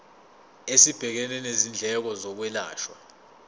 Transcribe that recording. esibhekene nezindleko zokwelashwa